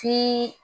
Ti